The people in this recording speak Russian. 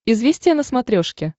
известия на смотрешке